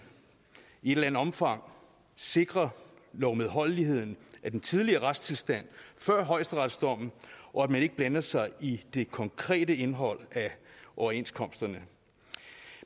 i et eller andet omfang sikrer lovmedholdeligheden af den tidligere retstilstand før højesteretsdommen og at man ikke blander sig i det konkrete indhold af overenskomsterne